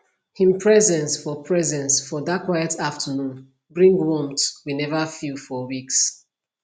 him presence for presence for that quiet afternoon bring warmth we never feel for weeks